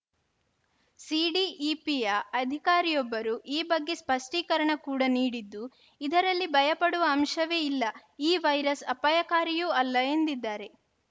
ಸಿಡಿಇಪಿಯ ಅಧಿಕಾರಿಯೊಬ್ಬರು ಈ ಬಗ್ಗೆ ಸ್ಪಷ್ಟೀಕರಣ ಕೂಡ ನೀಡಿದ್ದು ಇದರಲ್ಲಿ ಭಯಪಡುವ ಅಂಶವೇ ಇಲ್ಲ ಈ ವೈರಸ್‌ ಅಪಾಯಕಾರಿಯೂ ಅಲ್ಲ ಎಂದಿದ್ದಾರೆ